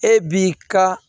E b'i ka